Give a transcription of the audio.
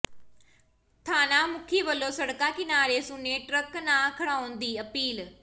ਥਾਣਾ ਮੁਖੀ ਵਲੋਂ ਸੜਕਾਂ ਕਿਨਾਰੇ ਸੁੰਨੇ ਟਰੱਕ ਨਾ ਖੜ੍ਹਾਉਣ ਦੀ ਅਪੀਲ